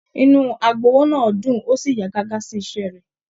Inú agbowó náà dún o sí yà gágá sí iṣẹ rẹ.